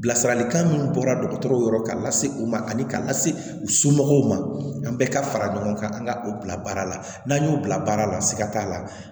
Bilasiralikan min bɔra dɔgɔtɔrɔw la k'a lase u ma ani k'a lase u somɔgɔw ma an bɛɛ ka fara ɲɔgɔn kan an ka u bila baara la n'an y'o bila baara la siga t'a la